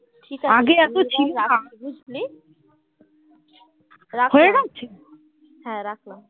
হ্যাঁ রাখলাম